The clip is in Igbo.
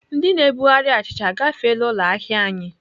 Ndị na-ebugharị achịcha agafeela ụlọ ahịa anyị?